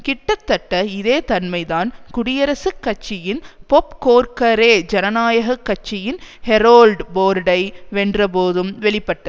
கிட்டத்தட்ட இதே தன்மைதான் குடியரசுக் கட்சியின் பொப் கோர்க்கரெ ஜனநாயக கட்சியின் ஹரோல்ட் போர்டை வென்றபோதும் வெளிப்பட்ட